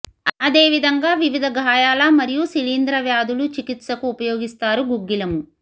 అదేవిధంగా వివిధ గాయాలు మరియు శిలీంధ్ర వ్యాధులు చికిత్సకు ఉపయోగిస్తారు గుగ్గిలము